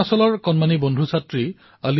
তেনেহলে মই অপেক্ষা কৰিম আপোনালোকৰ পৰামৰ্শৰ বাবে